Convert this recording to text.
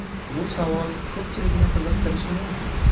Bu savol ko‘pchilikni qiziqtirishi mumkin.